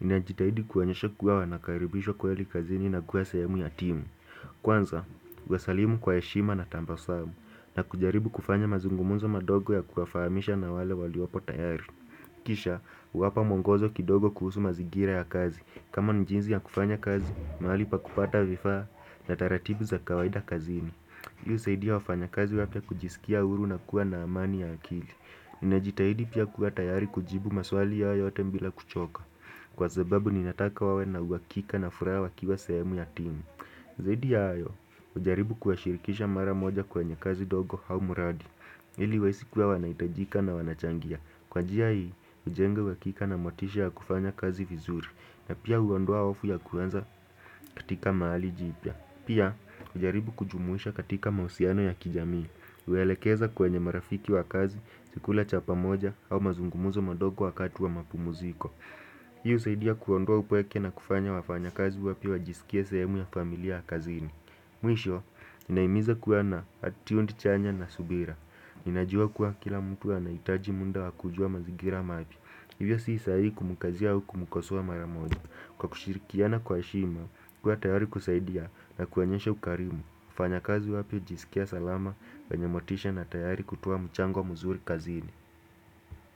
ninajitahidi kuwaonyesha kuwa wanakaribishwa kweli kazini na kuwa sehemu ya timu Kwanza, huwasalimu kwa heshima na tabasamu, na kujaribu kufanya mazungumzo madogo ya kuwafahamisha na wale waliopo tayari Kisha, huwapa mwongozo kidogo kuhusu mazingira ya kazi, kama jinsi ya kufanya kazi, mahali pa kupata vifaa na taratibu za kawaida kazini Hii husaidia wafanya kazi wapya kujisikia huru na kuwa na amani ya akili ninajitahidi pia kuwa tayari kujibu maswali yao yote bila kuchoka Kwa sababu ninataka wawe na uhakika na furaha wakiwa sehemu ya timu Zaidi ya hayo hujaribu kuwashirikisha mara moja kwenye kazi ndogo au muradi ili wahisi kuwa wanahitajika na wanachangia. Kwa njia hii hujenga uhakika na motisha ya kufanya kazi vizuri. Na pia huondoa hofu ya kuanza katika mahali jipya. Pia, hujaribu kujumuisha katika mahusiano ya kijamii huwaelekeza kwenye marafiki wa kazi, si kula chapa moja au mazungumuzo madogo wakati wa mapumuziko Hii husaidia kuondoa upweke na kufanya wafanya kazi wapya wajisikie sehemu ya familia ya kazini Mwisho, ninahimiza kuwa na attitude chanya na subira Ninajua kuwa kila mtu anahitaji muda wa kujua mazingira mapya. Hivyo si sahihi kumkazia wa kumkosua mara moja. Kwa kushirikiana kwa heshima, kuwa tayari kusaidia na kuonyesha ukarimu. Wafanya kazi wapya hujisikia salama wenye motisha na tayari kutoa mchango mzuri kazini.